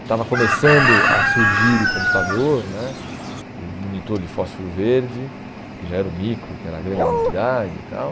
Estava começando a surgir o computador né, o monitor de fósforo verde, que já era o micro, que era a grande novidade tal.